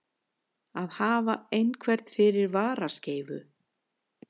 Að hafa einhvern fyrir varaskeifu